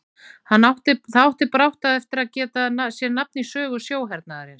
Það átti brátt eftir að geta sér nafn í sögu sjóhernaðarins.